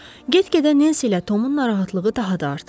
Get-gedə Nensi ilə Tomun narahatlığı daha da artırdı.